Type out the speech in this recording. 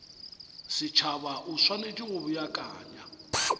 setšhaba o swanetše go beakanya